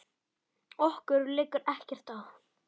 Okkur liggur ekkert á